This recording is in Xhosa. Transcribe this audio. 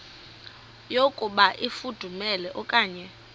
yokuba ifudumele okanye